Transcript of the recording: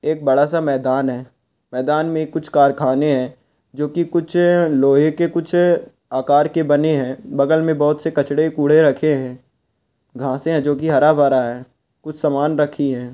एक बड़ा सा मैदान है मैदान मे कुछ कारखाने है जो की कुछ लोहे के कुछ आकार के बने है बगल मे कुछ कचड़े कूड़े रखे है घांसे है जो की हरा-भरा है कुछ सामान रखी है।